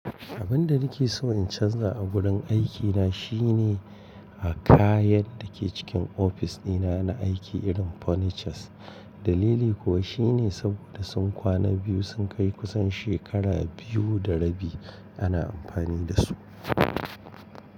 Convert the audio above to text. Abin da nake so in canza a wurin aikina shine a kayan da ke cikin ofis dina na aiki irin furnitures. Dalili kuwa shine saboda sun kwana biyu sun kai kusan shekara biyu da rabi ana amfani da su.